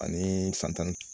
Ani san tan ni